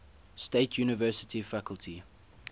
state university faculty